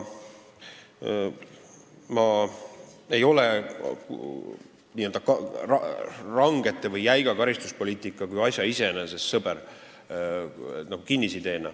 Ma ei ole range või jäiga karistuspoliitika kui asja iseeneses sõber, see ei ole mul kinnisidee.